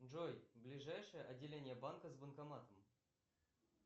джой ближайшее отделение банка с банкоматом